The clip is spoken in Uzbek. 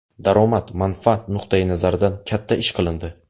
Daromad, manfaat nuqtai nazaridan katta ish qilindi.